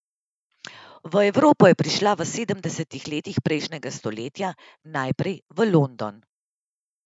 V Evropo je prišla v sedemdesetih letih prejšnjega stoletja, najprej v London.